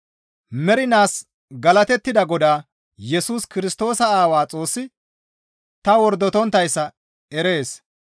Mernaas galatettida Godaa Yesus Kirstoosa Aawaa Xoossi ta wordotonttayssa erees.